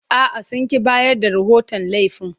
A'a, sun ƙi bayar da rahoton laifin.